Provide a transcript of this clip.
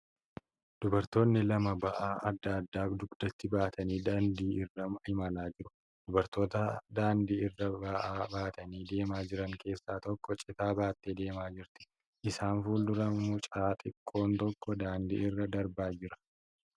Dubartoonni lama ba'aa adda addaa dugdatti baatanii daandii irra imalaa jiru. Dubartoota daandii irra ba'aa baatanii deemaa jiran keessaa tokko citaa baattee deemaa jirti. Isaan fuuldura mucaa xiqqoon tokko daandii irra darbaa jira.